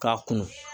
K'a kunun